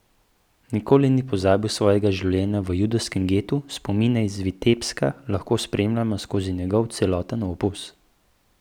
Nikoli ni pozabil svojega življenja v judovskem getu, spomine iz Vitebska lahko spremljamo skozi njegov celoten opus.